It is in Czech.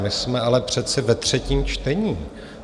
My jsme ale přece ve třetím čtení.